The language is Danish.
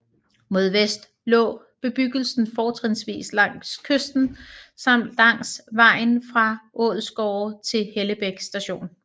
Mod vest lå bebyggelsen fortrinsvis langs kysten samt langs vejen fra Ålsgårde til Hellebæk station